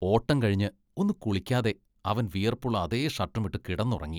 ഓട്ടം കഴിഞ്ഞ് ഒന്ന് കുളിക്കാതെ അവൻ വിയർപ്പുള്ള അതേ ഷർട്ടുമിട്ട് കിടന്നുറങ്ങി.